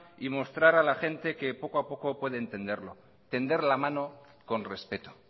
y mostrar a la gente que poco a poco puede entenderlo tender la mano con respeto